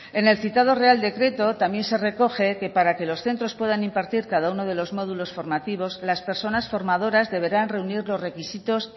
en el citado real decreto también se recoge que para que los centros puedan impartir cada uno de los módulos formativos las personas formadoras deberán reunir los requisitos